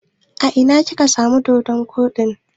A ina ka samo doɗon koɗin?